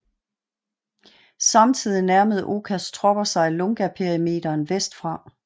Samtidig nærmede Okas tropper sig Lungaperimeteren vest fra